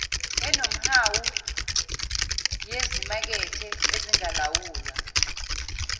enomhawu yezimakethe ezingalawulwa